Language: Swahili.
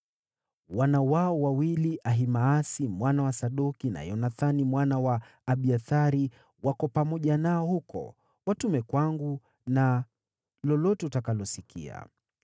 Wana wao wawili, Ahimaasi mwana wa Sadoki na Yonathani mwana wa Abiathari, wako pamoja nao huko. Watume kwangu na lolote utakalosikia.”